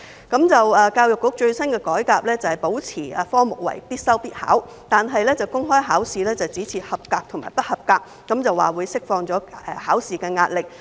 教育局最新的改革是，保持該科目為必修必考，但公開考試只設及格和不及格，表示這樣會釋放考試壓力。